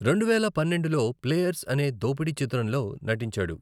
రెండువేల పన్నెండులో 'ప్లేయర్స్' అనే దోపిడీ చిత్రంలో నటించాడు.